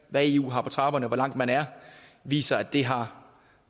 hvad eu har på trapperne hvor langt man er viser at det har